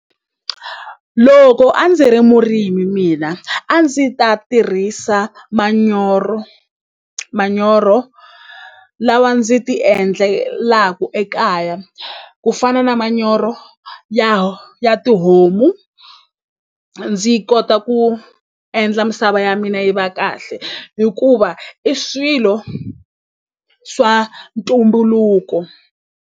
Loko a ndzi ri murimi mina a ndzi ta tirhisa manyoro manyoro lawa ndzi ti endlelaku ekaya ku fana na ma manyoro ya ya tihomu ndzi kota ku endla misava ya mina yi va kahle hikuva i swilo swa ntumbuluko.